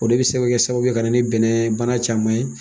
O de bi se kɛ sababu ka na ni bɛnnɛ bana caman ye